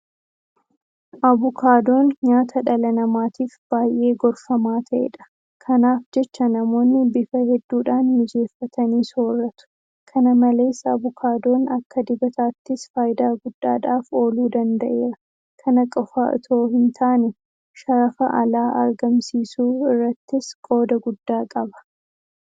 Abukaadoon nyaata dhala namaatiif baay'ee gorfamaa ta'edha. Kanaaf jecha namoonni bifa hedduudhaan mijeeffatanii soorratu. Kana malees Abukaadoon akka dibataattis faayidaa guddaadhaaf ooluu danda'eera. Kana qofa itoo hintaane sharafa alaa argamsiisuu irrattis qooda guddaa qaba.